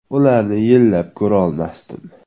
Ularni yillab ko‘rolmasdim.